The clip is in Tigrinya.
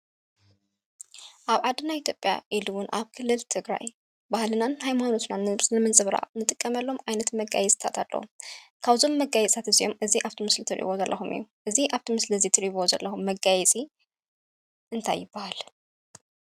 ኣብ ዓድና ኢትዮጵያ ኢሉ እዉን ኣብ ክልል ትግራይ ባህልናን ሃይማኖትናን ንምንፅብራቕ ንጥቀመሎም ዓይነት መጋየፅታት ኣለዉ። ካብዞም መጋየፅታት እዚኦም እዚ ኣብቲ ምስሊ እትሪእዎ ዘለኹም እዩ። እዚ ኣብቲ ምስሊ እዚ እትሪእዎ ዘለኹም መጋየፂ እንታይ ይብሃል?